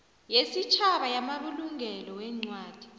yesitjhaba yamabulungelo weencwadi